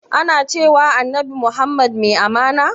Ana cewa annabi muhammad mai amana?